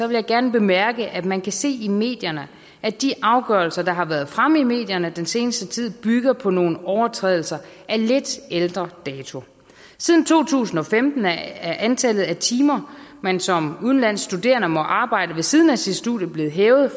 vil jeg gerne bemærke at man kan se i medierne at de afgørelser der har været fremme i medierne den seneste tid bygger på nogle overtrædelser af lidt ældre dato siden to tusind og femten er antallet af timer man som udenlandsk studerende må arbejde ved siden af sit studie blevet hævet